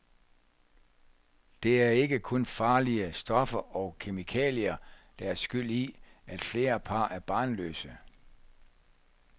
Det er ikke kun farlige stoffer og kemikalier, der er skyld i, at flere par er barnløse.